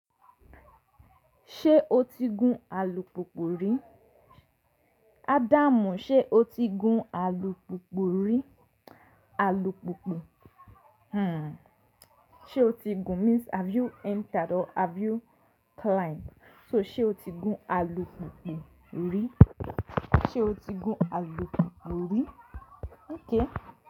Ṣé o ti gún alùpùpù rí? Adamu, ṣe o ti gún alùpùpù rí? Alùpùpù. Hmm. Ṣe o ti gún means have you entered or have you climbed. So, se o ti gún alùpùpù rí? Ṣe o ti gún alùpùpù rí? Okay.